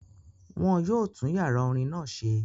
Wọ́n yóò tún yàrá orin náà ṣe